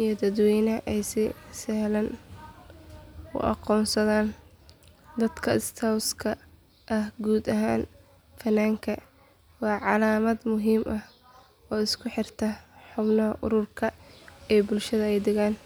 iyo dadweynaha ay si sahlan u aqoonsadaan dadka scouts-ka ah guud ahaan funaanka waa calaamad muhiim ah oo isku xirta xubnaha ururka iyo bulshada ay u adeegaan.